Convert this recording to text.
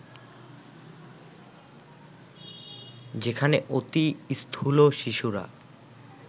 যেখানে অতি স্থূল শিশুরা